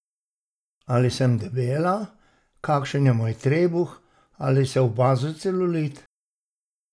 Ali sem debela, kakšen je moj trebuh, ali se opazi celulit?